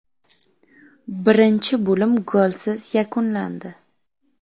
Birinchi bo‘lim golsiz yakunlandi.